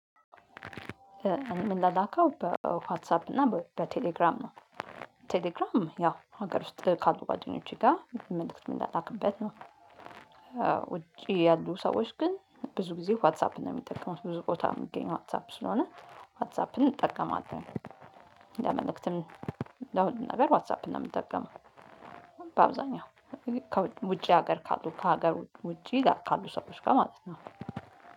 የም ላላከው በ በዋትሳፕ እና በቴሌግራም ነው። ቴሌግራም ያው ሀገር ውስጥ ካሉ ጓደኞቼ ጋ መልእክት ም ላላክበት ነው ያው። ውጪ ያሉ ሰዎች ግን ብዙ ጊዜ ዋትሳፕ የሚጠቀሙት ብዙ ቦታ የሚገኝ ዋትሳፕ ስለሆነ ዋትሳፕን እንጠቀማለን። ለመልእክትም ለሁሉም ነገር ዋትሳፕ ነው የምጠቀመው። በአብዛኛው ከውጪ ውጪ ሀገር ካሉ ከሀገር ውጪ ጋር ካሉ ሰዎች ጋር ማለት ነው።